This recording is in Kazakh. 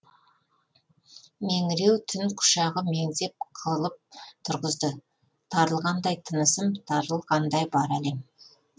меңіреу түн құшағы меңзеп қылып тұрғызды тарылғандай тынысым тарылғандай бар әлем